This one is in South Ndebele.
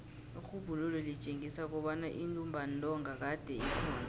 irhubhululo litjengisa kobana intumbantonga kade ikhona